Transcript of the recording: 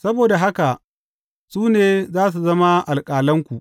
Saboda haka, su ne za su zama alƙalanku.